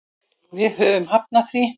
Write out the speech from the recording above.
Við höfum hafnað því.